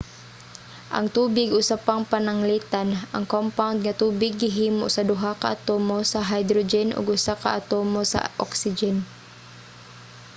ang tubig usa pang pananglitan. ang compound nga tubig gihimo sa duha ka atomo sa hydrogen ug usa ka atomo sa oxygen